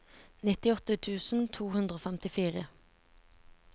nittiåtte tusen to hundre og femtifire